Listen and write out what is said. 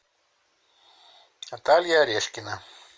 наталья орешкина